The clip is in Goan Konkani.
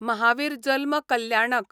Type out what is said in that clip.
महावीर जल्म कल्याणक